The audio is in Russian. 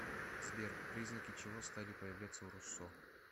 сбер признаки чего стали появляться у руссо